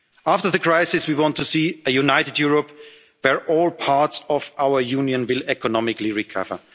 in front of us. After the crisis, we want to see a united Europe where all parts of our Union will